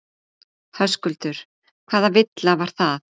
Höskuldur: Hvaða villa var það?